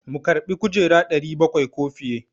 Mu karbi kujera 700 ko fiye?